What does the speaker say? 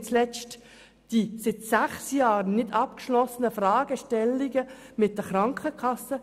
nicht zuletzt die seit sechs Jahren nicht abgeschlossenen Fragestellungen mit der Krankenkasse.